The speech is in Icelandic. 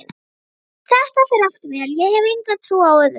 Þetta fer allt vel, ég hef enga trú á öðru.